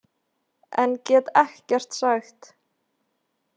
En get ekkert sagt.